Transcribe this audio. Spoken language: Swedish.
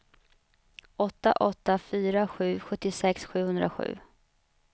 åtta åtta fyra sju sjuttiosex sjuhundrasju